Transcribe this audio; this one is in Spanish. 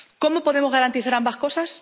¿Cómo podemos garantizar ambas cosas?